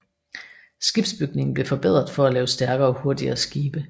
Skibsbygningen blev forbedret for at lave stærkere og hurtigere skibe